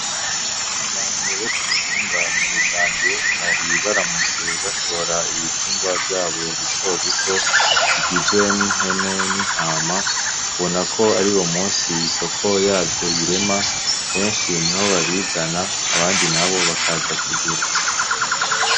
Abantu bo k'umutumba nyarusange bari baramutse bashora ibitungwa vyabo bito bito ,bigizwe n'impene, n'intama ,ubona ko ariwo munsi isoko yavyo irema, benshi niho babizana ,abandi nabo bakaza kugura.